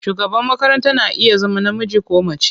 Shugaban makaranta na iya zama namiji ko mace.